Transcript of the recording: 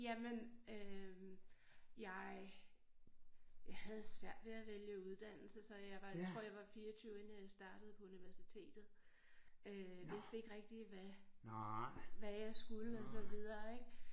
Jamen øh jeg jeg havde svært ved at vælge uddannelse så jeg var tror jeg var 24 inden jeg startede på universitetet øh vidste ikke rigtig hvad hvad jeg skulle og så videre ik